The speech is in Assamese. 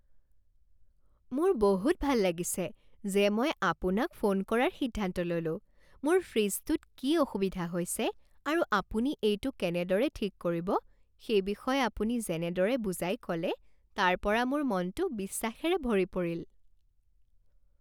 মোৰ বহুত ভাল লাগিছে যে মই আপোনাক ফোন কৰাৰ সিদ্ধান্ত ল'লোঁ মোৰ ফ্ৰিজটোত কি অসুবিধা হৈছে আৰু আপুনি এইটো কেনেদৰে ঠিক কৰিব সেই বিষয়ে আপুনি যেনেদৰে বুজাই ক'লে তাৰ পৰা মোৰ মনটো বিশ্বাসেৰে ভৰি পৰিল।